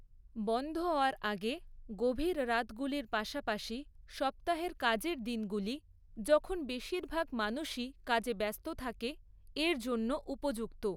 বন্ধ হওয়ার আগে গভীর রাতগুলির পাশাপাশি সপ্তাহের কাজের দিনগুলি, যখন বেশিরভাগ মানুষই কাজে ব্যস্ত থাকে, এর জন্য উপযুক্ত।